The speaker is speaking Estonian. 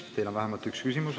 Teile on vähemalt üks küsimus.